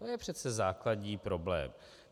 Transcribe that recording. To je přece základní problém!